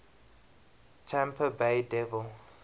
tampa bay devil